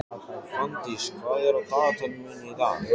Fanndís, hvað er á dagatalinu mínu í dag?